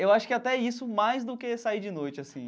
Eu acho que até isso mais do que sair de noite, assim.